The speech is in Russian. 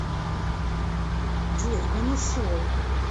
джой он ушел